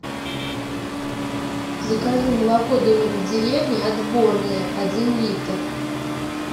закажи молоко домик в деревне отборное один литр